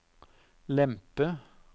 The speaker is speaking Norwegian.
lempe